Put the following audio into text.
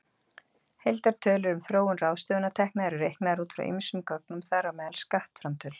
Heildartölur um þróun ráðstöfunartekna eru reiknaðar út frá ýmsum gögnum, þar á meðal skattframtölum.